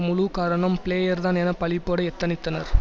முழு காரணம் பிளேயர்தான் என்று பழிபோட எத்தனித்தனர்